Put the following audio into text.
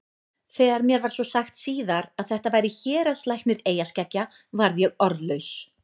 Þegar mér var svo sagt síðar að þetta væri héraðslæknir eyjaskeggja varð ég orðlaus.